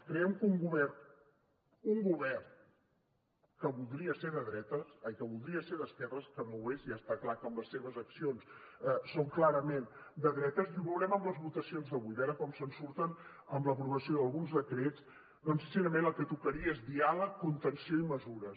creiem que en un govern en un govern que voldria ser d’esquerres que no ho és ja està clar que amb les seves accions són clarament de dretes i ho veurem en les votacions d’avui a veure com se’n surten amb l’aprovació d’alguns decrets doncs sincerament el que tocaria és diàleg contenció i mesures